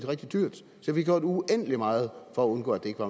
rigtig dyrt der blev gjort uendelig meget for at undgå at det ikke